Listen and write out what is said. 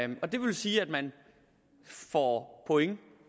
man og det vil sige at man får point